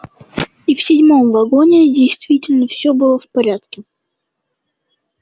и в седьмом вагоне действительно все было в порядке